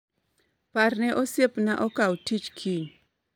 Parne osiepna okaw tich kiny